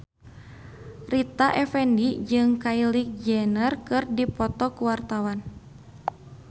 Rita Effendy jeung Kylie Jenner keur dipoto ku wartawan